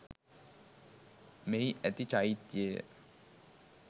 මෙහි ඇති චෛත්‍යය